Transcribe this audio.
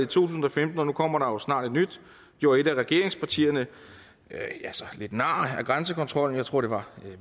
tusind og femten og nu kommer der jo snart et nyt gjorde et af regeringspartierne lidt nar ad grænsekontrollen jeg tror det var